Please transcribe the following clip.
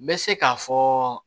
N bɛ se k'a fɔ